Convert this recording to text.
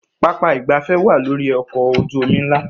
Pápá ìgbafẹ́ wá lórí ọkọ̀ ojú omi ńlá